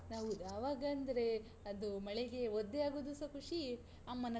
ಹೌದು, ಆವಗಂದ್ರೆ, ಅದೂ ಮಳೆಗೆ ಒದ್ದೆಯಾಗುದುಸ ಖುಷಿಯೇ, ಅಮ್ಮನ್ ಹತ್ರ.